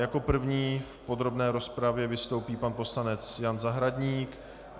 Jako první v podrobné rozpravě vystoupí pan poslanec Jan Zahradník.